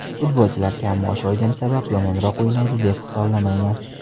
Futbolchilar kam maosh olgani sabab yomonroq o‘ynaydi deb hisoblamayman.